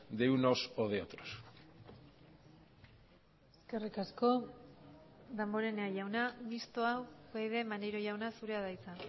de unos o de otros eskerrik asko damborenea jauna mistoa upyd maneiro jauna zurea da hitza